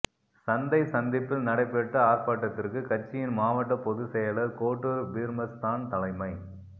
சந்தை சந்திப்பில் நடைபெற்ற ஆா்ப்பாட்டத்திற்கு கட்சியின் மாவட்ட பொது செயலா் கோட்டூா் பீா்மஸ்தான் தலைமை